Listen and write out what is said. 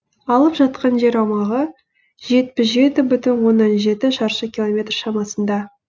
алып жатқан жер аумағы жетпіс жеті бүтін оннан жеті шаршы километр шамасында